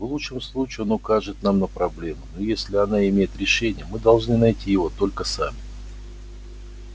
в лучшем случае он укажет нам на проблему но если она имеет решение мы должны найти его только сами